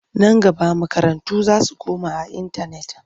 Nan gaba makarantu za su koma a intanet.